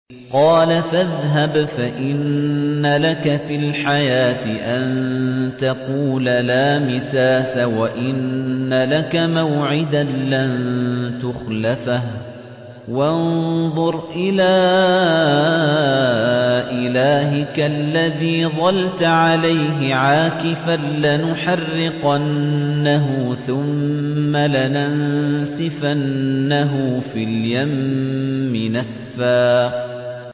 قَالَ فَاذْهَبْ فَإِنَّ لَكَ فِي الْحَيَاةِ أَن تَقُولَ لَا مِسَاسَ ۖ وَإِنَّ لَكَ مَوْعِدًا لَّن تُخْلَفَهُ ۖ وَانظُرْ إِلَىٰ إِلَٰهِكَ الَّذِي ظَلْتَ عَلَيْهِ عَاكِفًا ۖ لَّنُحَرِّقَنَّهُ ثُمَّ لَنَنسِفَنَّهُ فِي الْيَمِّ نَسْفًا